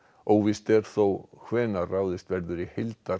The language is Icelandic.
óvíst er þó hvenær ráðist verður í